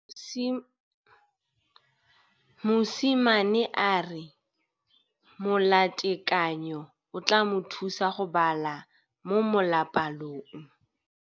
Mosimane a re molatekanyô o tla mo thusa go bala mo molapalong.